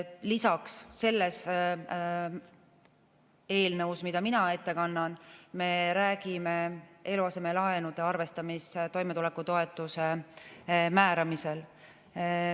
Lisaks, selles eelnõus, mida mina ette kannan, me räägime eluasemelaenude arvestamisest toimetulekutoetuse määramisel.